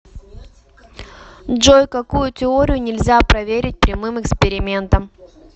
джой какую теорию нельзя проверить прямым экспериментом